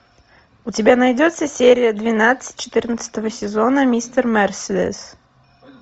у тебя найдется серия двенадцать четырнадцатого сезона мистер мерседес